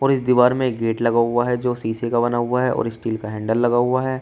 और इस दीवार में एक गेट लगा हुआ है जो शीशे का बना हुआ है और स्टील का हैंडल लगा हुआ है।